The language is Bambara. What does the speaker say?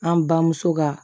An bamuso ka